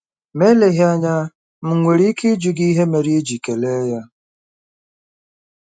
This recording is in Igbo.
Ma eleghị anya, m nwere ike ịjụ gị ihe mere i ji kelee ya?